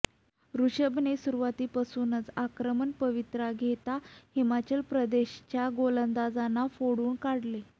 ऋषभने सुरुवातीपासूनच आक्रमक पवित्रा घेत हिमाचल प्रदेशच्या गोलंदाजांना फोडून काढले